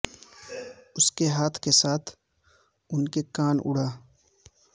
اس کے ہاتھ کے ساتھ ان کے کان اڑا